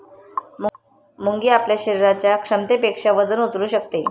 मुंगी आपल्या शरीराच्या क्षमतेपेक्षा वजन उचलू शकते